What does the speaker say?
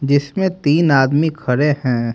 जिसमें तीन आदमी खड़े हैं।